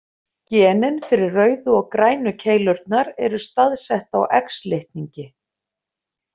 Genin fyrir rauðu og grænu keilurnar eru staðsett á X-litningi.